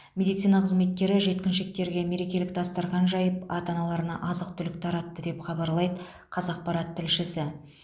медицина қызметкері жеткіншектерге мерекелік дастархан жайып ата аналарына азық түлік таратты деп хабарлайды қазақпарат тілшісі